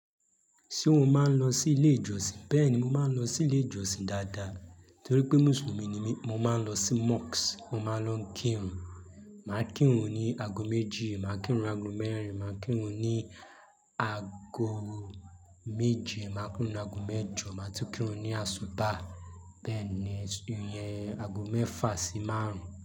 Ṣé o máa ń lọ sí ilé ìjọsìn? Bẹ́ẹ̀ni, mo máa ń lọ sí ilé ìjọsìn dáadáa torí pé Mùsùlùmí ni mí. Mo máa ń lọ sí mosque. Mo máa ń lọ kírun, màá kírun ní ago méjì, màá kírun ago mẹ́rin, màá kírun ní ago méje, màá kírun ní ago mẹ́jọ, màá tún kírun ní àsútá. Bẹ́ẹ̀ ni, ìyẹn ago mẹ́fà sí márùn-ún.